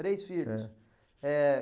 Três filhos. É. Eh...